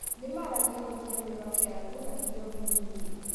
Nĩ maaragia rũthiomi rwa Kĩarabu na thiomi ingĩ.